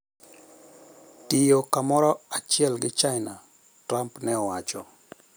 Tiyo kamoro achiel gi China, Trump ne owacho: